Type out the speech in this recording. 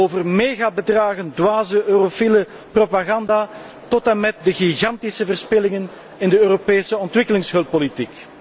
over megabedragen, over dwaze eurofiele propaganda tot en met de gigantische verspillingen in het Europees ontwikkelingshulpbeleid.